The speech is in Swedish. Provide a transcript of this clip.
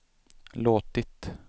låtit